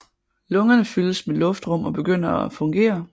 Lungerne fyldes med luftrum og begynder at fungere